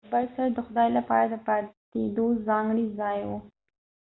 د برج سر د خدای لپاره د پاتیدو ځانګړی ځای وو